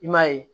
I m'a ye